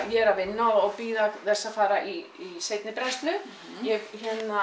ég er að vinna og bíða þess að fara í seinni brennslu ég